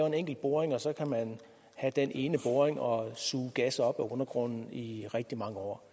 en enkelt boring og så kan man have den ene boring og suge gas op af undergrunden i rigtig mange år